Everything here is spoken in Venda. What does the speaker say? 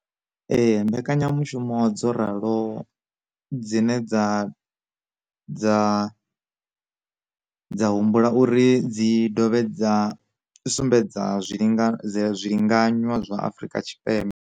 Ee, mbekanyamushumo dzo ralo dzine dza dza dza humbula uri dzi dovhe dza sumbedza zwinga zwilinganywa zwa Afrika Tshipembe.